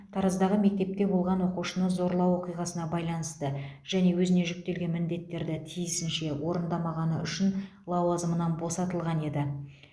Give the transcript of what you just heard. тараздағы мектепте болған оқушыны зорлау оқиғасына байланысты және өзіне жүктелген міндеттерді тиісінше орындамағаны үшін лауазымынан босатылған еді